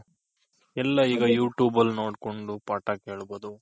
ಎಲ್ಲ ಈಗ you tube ನೋಡ್ಕೊಂಡ್ ಪಾಠ ಕೇಳ್ಬೋದು.